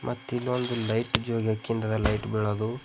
ಮತ್ತಿ ಇಲ್ಲೊಂದ್ ಲೈಟ್ ಜೋಗ್ಯಕಿಂದ ಆದ ಲೈಟ್ ಬೀಳೋದು.